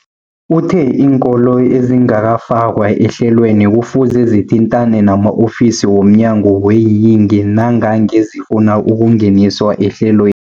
Uthe iinkolo ezingakafakwa ehlelweneli kufuze zithintane nama-ofisi wo mnyango weeyingi nangange zifuna ukungeniswa ehlelwe